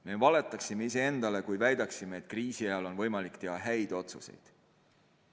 Me valetaksime iseendale, kui väidaksime, et kriisi ajal on võimalik teha häid otsuseid.